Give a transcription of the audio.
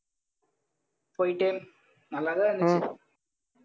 போயிட்டே நல்லாதான் இருந்துச்சு